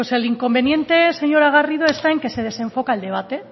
pues el inconveniente señora garrido está en que se desenfoca el debate